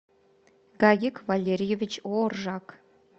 гагик валерьевич оржак